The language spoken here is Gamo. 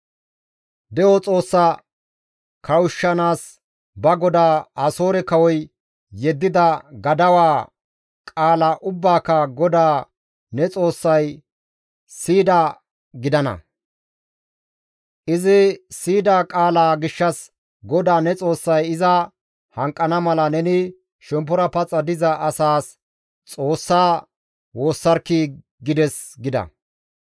De7o Xoossaa kawushshanaas ba goda Asoore kawoy yeddida gadawaa qaala ubbaaka GODAA ne Xoossay siyidaa gidana; izi siyida qaalaa gishshas GODAA ne Xoossay iza hanqana mala neni shemppora paxa diza asaas Xoossa woossarkkii!› gides» gida.